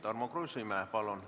Tarmo Kruusimäe, palun!